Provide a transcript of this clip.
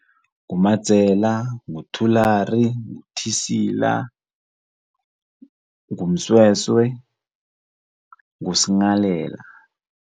NguMadzela, nguThulari, nguThisila, nguMsweswe, nguS'nghalela.